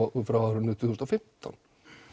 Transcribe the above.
frá árinu tvö þúsund og fimmtán